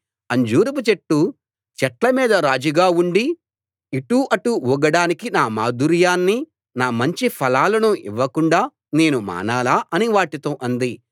అంజూరపు చెట్టు చెట్ల మీద రాజుగా ఉండి ఇటు అటు ఊగడానికి నా మాధుర్యాన్ని నా మంచి ఫలాలను ఇవ్వకుండా నేను మానాలా అని వాటితో అంది